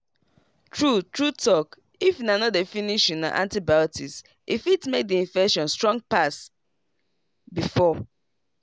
true true talkif una no dey finish una antibiotics e fit make the infection strong pass before.